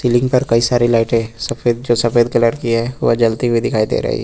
ceiling पर कई सारी लाईटें सफेद जो सफेद कलर की है वो जलती हुई दिखाई दे रही --